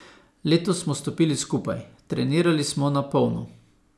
Letos smo stopili skupaj, trenirali smo na polno.